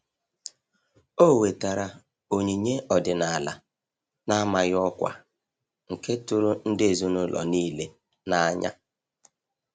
O wetara onyinye ọdịnala n'amaghị ọkwa, nke tụrụ ndị ezinụlọ niile n'anya